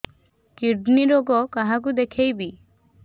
kidney ରୋଗ କାହାକୁ ଦେଖେଇବି